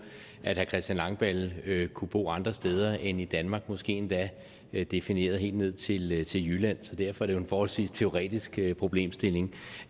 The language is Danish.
at herre christian langballe kunne bo andre steder end i danmark måske endda defineret helt ned til ned til jylland så derfor er det jo en forholdsvis teoretisk problemstilling